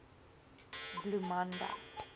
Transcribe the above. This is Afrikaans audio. bloemanda